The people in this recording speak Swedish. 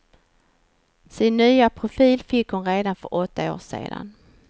Sin nya profil fick hon redan för åtta år sedan.